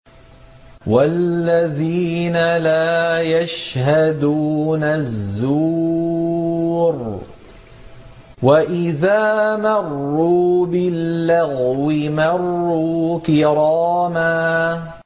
وَالَّذِينَ لَا يَشْهَدُونَ الزُّورَ وَإِذَا مَرُّوا بِاللَّغْوِ مَرُّوا كِرَامًا